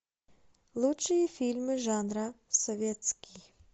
лучшие фильмы жанра советский